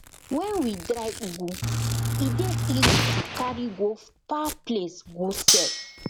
when we dry ugu e dey easy to carry go far place go sell